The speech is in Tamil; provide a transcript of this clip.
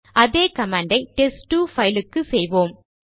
அதே கமாண்ட் ஐ டெஸ்ட்2 பைலுக்கு செய்வோம்